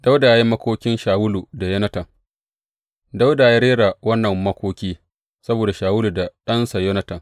Dawuda ya yi makokin Shawulu da Yonatan Dawuda ya rera wannan makoki saboda Shawulu da ɗansa Yonatan.